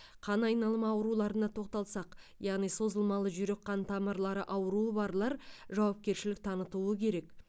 қан айналымы ауруларына тоқталсақ яғни созылмалы жүрек қан тамырлары ауруы барлар жауапкершілік танытуы керек